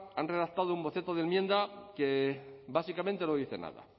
han redactado un boceto de enmienda que básicamente no dice nada